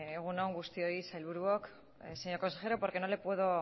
egun on guztioi sailburuok señor consejero porque no le puedo